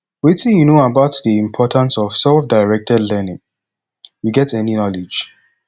wetin you know about di importance of selfdirected learning you get any knowledge